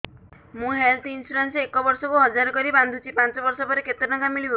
ମୁ health insurance ଏକ ବର୍ଷକୁ ହଜାର କରି ବାନ୍ଧୁଛି ପାଞ୍ଚ ବର୍ଷ ପରେ କେତେ ଟଙ୍କା ମିଳିବ